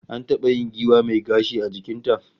An taba yin giwa mai gashi a jikin ta